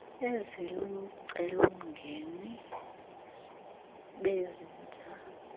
ezilucelo mgeni bezintsha